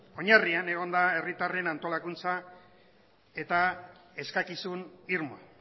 oinarrian egon da herritarren antolakuntza eta eskakizun irmoa